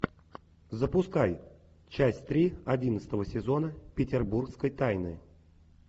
запускай часть три одиннадцатого сезона петербургской тайны